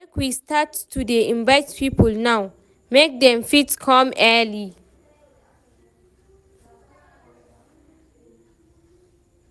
Make we start to dey invite people now, make dem fit come early.